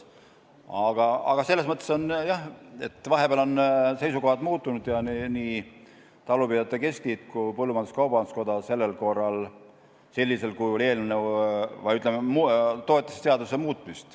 Vahepeal on, jah, seisukohad muutunud ja nii talupidajate keskliit kui ka põllumajandus-kaubanduskoda sellel korral toetasid seaduse muutmist sellisel kujul.